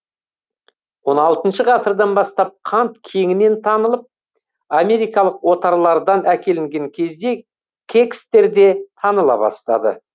он алтыншы ғасырдан бастап қант кеңінен танылып америкалық отарлардан әкелінген кезде кекстер де таныла бастады